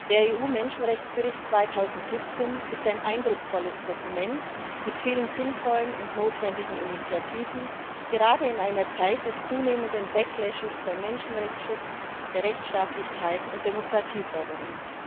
Der EU Menschenrechtsbericht 2017 ist ein eindrucksvolles Dokument mit vielen sinnvollen und notwendigen Initiativen, gerade in einer Zeit des zunehmenden bei Menschenrechtsschutz, Rechtsstaatlichkeit und Demokratieförderung.